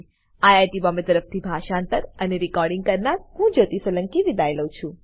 IIT Bombay તરફથી હું જ્યોતી સોલંકી વિદાય લઉં છું